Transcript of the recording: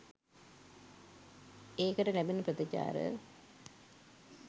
ඒකට ලැබෙන ප්‍රතිචාර